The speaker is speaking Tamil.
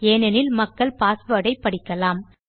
ஏனெனில் மக்கள் பாஸ்வேர்ட் ஐ படிக்கலாம்